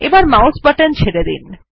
এখন mouse button ছেড়ে দিন